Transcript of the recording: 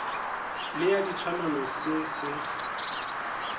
le ya ditshwanelo se se